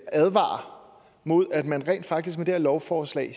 advarer mod at man rent faktisk med det her lovforslag